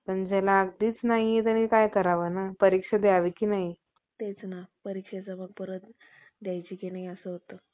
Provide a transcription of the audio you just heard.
बदल्या न करता, त्यांचा फक्त संग~ संमती घेऊन. अज्ञानी लोकांवर, करमुक~ मूक~ मुकरलेल्या